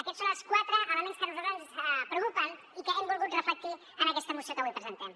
aquests són els quatre elements que a nosaltres ens preocupen i que hem volgut reflectir en aquesta moció que avui presentem